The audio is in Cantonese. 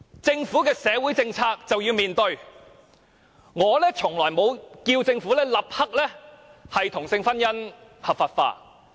政府的社會政策便是要面對，我從來沒有要求政府立刻把同性婚姻合法化。